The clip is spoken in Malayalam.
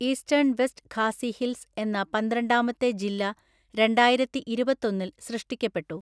ഈസ്റ്റേൺ വെസ്റ്റ് ഖാസി ഹിൽസ് എന്ന പന്ത്രണ്ടാമത്തെ ജില്ല രണ്ടായിരത്തിഇരുപത്തൊന്നില്‍ സൃഷ്ടിക്കപ്പെട്ടു.